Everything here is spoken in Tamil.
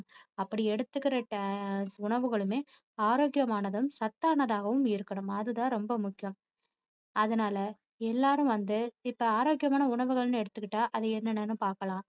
அப்படி எடுத்துக்குற ஆஹ் உணவுகளுமே ஆரோக்கியமானதும் சத்தானதுமாகவும் இருக்கணும் அதுதான் ரொம்ப முக்கியம். அதனால எல்லாரும் வந்து இப்போ ஆரோக்கியமான உணவுகள்ன்னு எடுத்துகிட்டா அது என்னென்னு பார்க்கலாம்